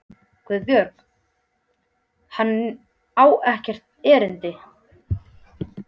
GUÐBJÖRG: Hann á hér ekkert erindi.